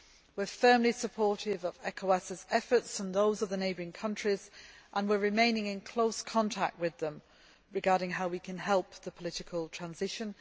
We are firmly supportive of ECOWAS' efforts and those of the neighbouring countries, and we are remaining in close contact with them regarding how we can help the political transition.